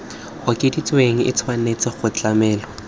okeditsweng e tshwanetse go tlamelwa